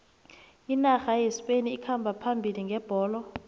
inarha yespain ikhamba phambili ngebholo